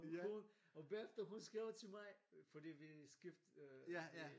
Og hun og bagefter hun skrev til mig fordi vi skift øh vi